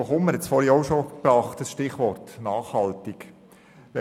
Hugo Kummer hat soeben das Stichwort «nachhaltig» verwendet.